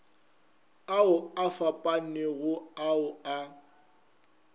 ao a fapanego ao a